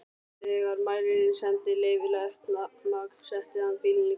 Þegar mælirinn sýndi leyfilegt magn setti hann bílinn í gang.